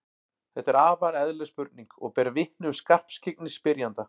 Þetta er afar eðlileg spurning og ber vitni um skarpskyggni spyrjanda.